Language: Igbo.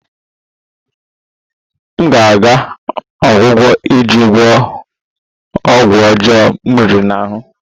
M ga-aga ọgwụgwọ iji gwọọ ọgwụ ọjọọ m riri ahụ